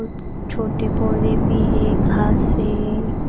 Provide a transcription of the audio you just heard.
कुछ छोटे पौधे भी है घास है.